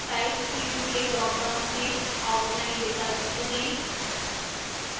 type field के dropdown में outline विकल्प चुनें